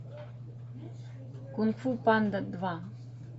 кунг фу панда два